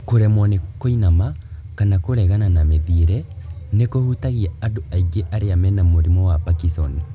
Kũremwo nĩ kũinama , kana kũregana na mĩthiĩre, nĩkũhutagia andũ aingĩ arĩa mena mũrimũ wa Parkison